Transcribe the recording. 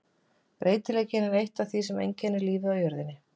Breytileikinn er eitt af því sem einkennir lífið á jörðinni.